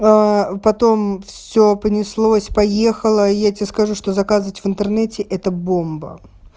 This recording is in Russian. аа потом все понеслось поехала я тебе скажу что заказать в интернете это бомба